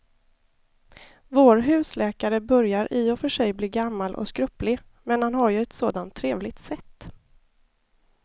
Vår husläkare börjar i och för sig bli gammal och skröplig, men han har ju ett sådant trevligt sätt!